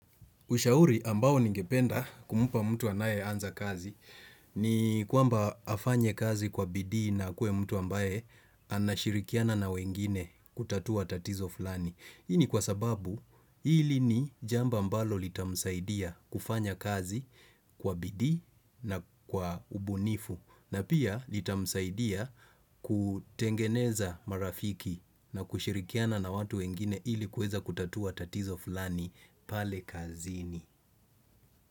Ushauri ambao ningependa kumupa mtu anaye anza kazi ni kwamba afanye kazi kwa bidii na akuwe mtu ambaye anashirikiana na wengine kutatua tatizo fulani. Hii ni kwa sababu hili ni jamba mbalo litamsaidia kufanya kazi kwa bidi na kwa ubunifu na pia litamsaidia kutengeneza marafiki na kushirikiana na watu wengine ili kuweza kutatua tatizo fulani pale kazini.